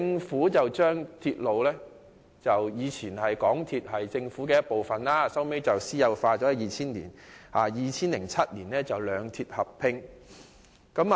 地鐵以前由政府擁有，後來在2000年私有化 ，2007 年兩鐵合併。